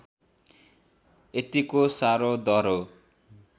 यतिको साह्रो दह्रो